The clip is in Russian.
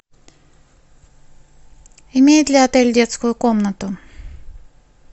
имеет ли отель детскую комнату